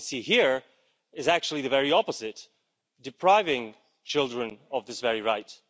What we see here is actually the very opposite depriving children of this very right.